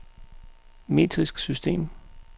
metrisk system